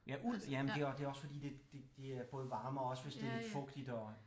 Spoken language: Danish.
Ja uld ja men det er det er også fordi det både varmer også hvis det er lidt fugtigt og